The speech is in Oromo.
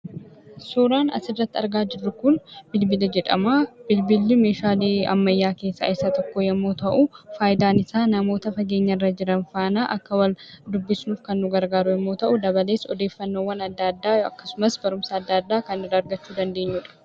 Suuraan asirratti argaa jirru bilbila jedhama. Bilbilli meeshaa ammayyaa keessaa isa tokko yoo ta'u, faayidaan isaa namoota fageenyarra jiran faana akka wal dubbifnuuf kan nu gargaaru yommuu ta'u, dabalees odeeffannoowwan adda addaa akkasumas barumsa adda addaa kan nuti argachuu dandeenyudha.